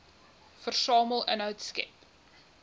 versamel inhoud skep